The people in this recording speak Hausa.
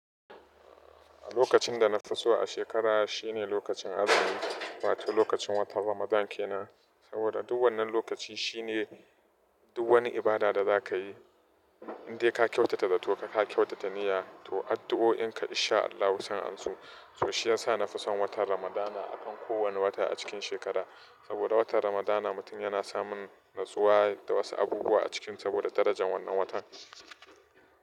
Lokacin da na fi so a shekara shine lokacin azumi, wato lokacin watan Ramadankena. Saboda duk wannan lokacin shine duk wani ibada da za ka yi, in dai ka kyautata da to ka kyautata niyya to addu'o'inka in sha Allahu san anso. To shi ya sa na fi son watan Ramadana akan kowane wata a cikin shekara. Saboda watan Ramadana mutum yana samun natsuwa da wasu abubuwa a cikin saboda darajar wannan watan.